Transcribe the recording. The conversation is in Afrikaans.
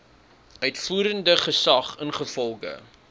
uitvoerende gesag ingevolge